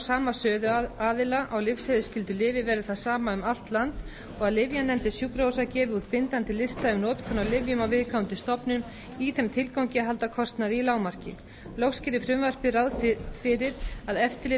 sama söluaðila á lyfseðilsskyldu lyfi verði það sama um allt land og að lyfjanefndir sjúkrahúsa gefi út bindandi lista um notkun á lyfjum á viðkomandi stofnun í þeim tilgangi að halda kostnaði í lágmarki loks gerir frumvarpið ráð fyrir að eftirlit og